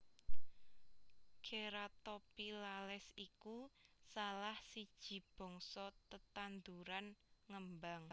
Ceratophyllales iku salah siji bangsa tetanduran ngembang